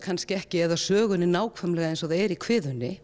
kannski ekki eða sögunni nákvæmlega eins og það er í